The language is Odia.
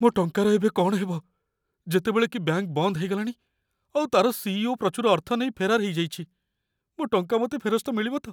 ମୋ ଟଙ୍କାର ଏବେ କ'ଣ ହେବ, ଯେତେବେଳେ କି ବ୍ୟାଙ୍କ ବନ୍ଦ ହେଇଗଲାଣି ଆଉ ତା'ର ସି.ଇ.ଓ. ପ୍ରଚୁର ଅର୍ଥ ନେଇ ଫେରାର ହେଇଯାଇଛି? ମୋ ଟଙ୍କା ମୋତେ ଫେରସ୍ତ ମିଳିବ ତ?